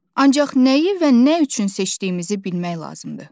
Ancaq nəyi və nə üçün seçdiyimizi bilmək lazımdır.